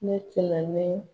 Ne cilamɛn